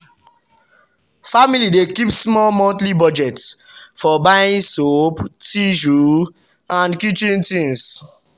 families dey keep small monthly budget for buying soap tissue and kitchen things.